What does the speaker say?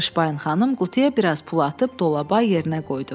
Tışpayn xanım qutuya bir az pul atıb dolaba yerinə qoydu.